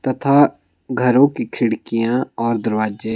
तथा घरों की खिड़कियाँ और दरवाजे --